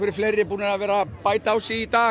fleiri búnir að vera bæta á sig í dag